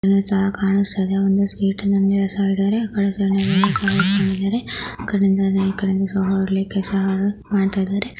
ಈ ತರ ಕಾಣಸ್ತಾ ಇದೆ .